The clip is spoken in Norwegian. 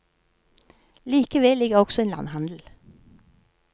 Like ved ligger også en landhandel.